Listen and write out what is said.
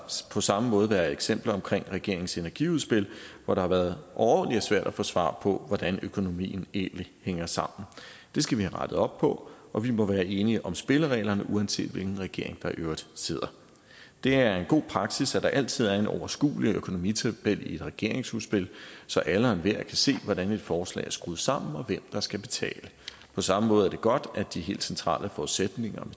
på samme måde været eksempler omkring regeringens energiudspil hvor det har været overordentlig svært at få svar på hvordan økonomien egentlig hænger sammen det skal vi have rettet op på og vi må være enige om spillereglerne uanset hvilken regering der i øvrigt sidder det er en god praksis at der altid er en overskuelig økonomitabel i et regeringsudspil så alle og enhver kan se hvordan et forslag er skruet sammen og hvem der skal betale på samme måde er det godt at de helt centrale forudsætninger